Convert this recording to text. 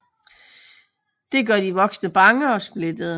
Det gør de voksne bange og splittede